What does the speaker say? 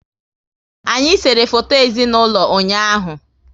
Anyị sere foto ezinaụlọ ụnyaahụ